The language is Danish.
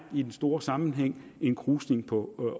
i den store sammenhæng er en krusning på